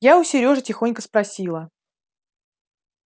я у серёжи тихонько спросила